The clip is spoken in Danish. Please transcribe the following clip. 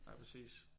Ja præcis